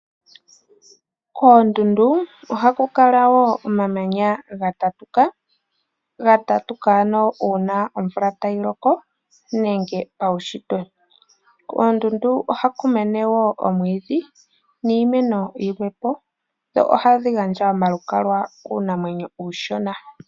Kondundu ohakukala wo omamanya gatatuka, gatatuka ano sho omvula tai loko nenge paushitwe. Ohaku mene wo omiti. Ohadhi gandja wo omalukalwa kuunamwenyo uushona.